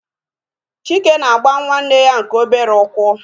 Chike na-agba nwanne ya nke obere ụkwụ